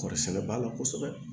Kɔɔri sɛnɛ ba la kosɛbɛ